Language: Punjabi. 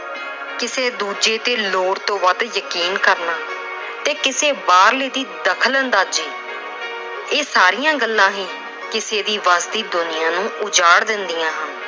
ਕਿਸੇ ਦੂਜੇ ਤੇ ਲੋੜ ਤੋਂ ਵੱਧ ਯਕੀਨ ਕਰਨਾ ਤੇ ਕਿਸੇ ਬਾਹਰਲੇ ਦੀ ਦਖਲ-ਅੰਦਾਜੀ ਇਹ ਸਾਰੀਆਂ ਗੱਲਾਂ ਹੀ ਕਿਸੇ ਦੀ ਬਣਦੀ ਦੁਨੀਆਂ ਨੂੰ ਉਜਾੜ ਦਿੰਦੀਆਂ ਹਨ।